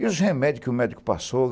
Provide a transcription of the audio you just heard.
E os remédios que o médico passou?